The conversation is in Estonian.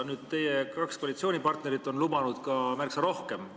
Nüüd, teie kaks koalitsioonipartnerit on lubanud ka märksa rohkem.